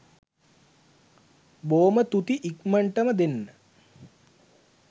බෝම තුති ඉක්මන්ටම දෙන්න